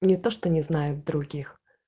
не то что не знаю других